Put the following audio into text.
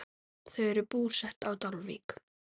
Þau eru búsett á Dalvík.